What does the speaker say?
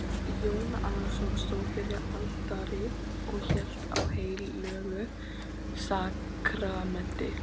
Jón Arason stóð fyrir altari og hélt á heilögu sakramenti.